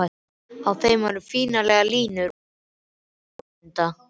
Á þeim eru fínlegar línur í formi lágmynda.